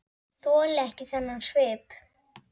Þoli ekki þennan svip.